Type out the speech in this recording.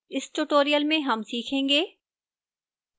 इस tutorial में हम सीखेंगे: